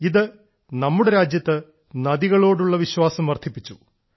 ഇത് നമ്മുടെ രാജ്യത്ത് നദികളോടുള്ള വിശ്വാസം വർധിപ്പിച്ചു